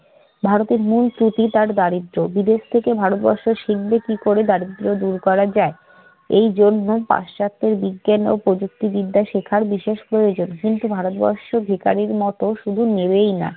ভারতের মূল ত্রুটি-তার দারিদ্র্য। বিদেশ থেকে ভারতবর্ষ শিখবে কি করে দারিদ্র দূর করা যায়? এই জন্যে পাশ্চাত্যের বিজ্ঞান ও প্রযুক্তিবিদ্যা শিখার বিশেষ প্রয়োজন। কিন্তু ভারতবর্ষ ভিখারীর মত শুধু নেবেই না,